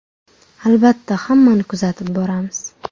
Albatta, hammani kuzatib boramiz.